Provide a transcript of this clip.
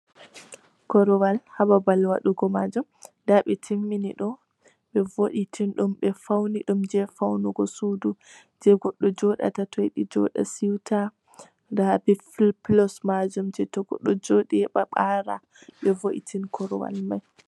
Korowal ha babal waɗugo majum, nda ɓe timmini ɗum, ɓe vo'itini ɗum, ɓe fauni ɗum je faunugo suddu, je goɗɗo joɗata to yiɗi joɗa siwta, nda ɓe pilos majum je to goɗɗo yiɗi joɗa ɓara, ɓe vo'itini korowal mai.